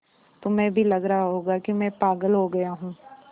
तुम्हें भी लग रहा होगा कि मैं पागल हो गया हूँ